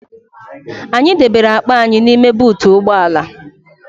Anyị debere akpa anyị n'ime buutu ụgbọ ala